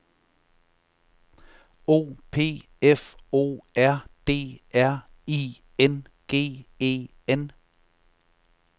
O P F O R D R I N G E N